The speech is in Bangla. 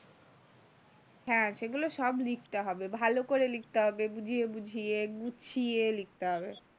হ্যাঁ সেগুলো সব লিখতে হবে, ভালো করে লিখতে হবে বুঝিয়ে বুঝিয়ে গুছিয়ে লিখতে হবে।